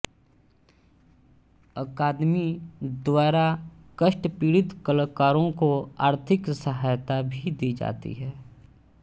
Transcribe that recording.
अकादमी द्वारा कष्टपीड़ित कलाकारों को आर्थिक सहायता भी दी जाती है